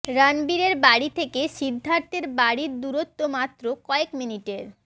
রণবীরের বাড়ি থেকে সিদ্ধার্থের বাড়ির দূরত্ব মাত্র কয়েক মিনিটের